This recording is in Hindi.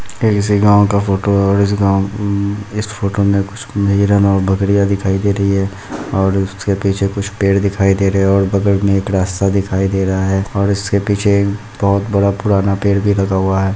ये किसी गाँव का फोटो और इस गाँव उम्म इस फोटो मे कुछ तेरा नाव बकरियाँ दिखाई दे री है और इसके पीछे कुछ पेड़ दिखई दे रहे है और बगल मे एक रास्ता दिखई दे रहा है और इसके पीछे बहुत बड़ा पुराना पेड़ भी लगा हुआ है।